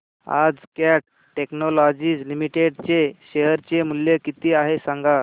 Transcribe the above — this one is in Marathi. आज कॅट टेक्नोलॉजीज लिमिटेड चे शेअर चे मूल्य किती आहे सांगा